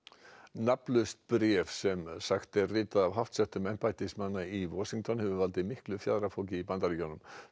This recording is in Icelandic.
nafnlaust bréf sem sagt er ritað af háttsettum embættismanni í Washington hefur valdið miklu fjaðrafoki